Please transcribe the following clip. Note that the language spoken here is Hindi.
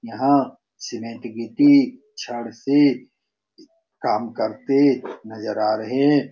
यहां सीमेंट गिट्टी छड़ से काम करते नजर आ रहे ।